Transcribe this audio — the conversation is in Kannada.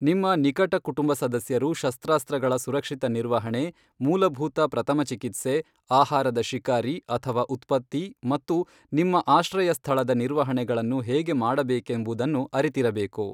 ನಿಮ್ಮ ನಿಕಟ ಕುಟುಂಬ ಸದಸ್ಯರು ಶಸ್ತ್ರಾಸ್ತ್ರಗಳ ಸುರಕ್ಷಿತ ನಿರ್ವಹಣೆ, ಮೂಲಭೂತ ಪ್ರಥಮ ಚಿಕಿತ್ಸೆ, ಆಹಾರದ ಶಿಕಾರಿ ಅಥವಾ ಉತ್ಪತ್ತಿ ಮತ್ತು ನಿಮ್ಮ ಆಶ್ರಯ ಸ್ಥಳದ ನಿರ್ವಹಣೆಗಳನ್ನು ಹೇಗೆ ಮಾಡಬೇಕೆಂಬುದನ್ನು ಅರಿತಿರಬೇಕು.